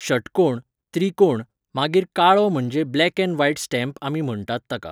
शटकोण, त्रिकोण, मागीर काळो म्हणजे ब्लॅक ऍण्ड व्हायट स्टॅम्प आमी म्हणटात ताका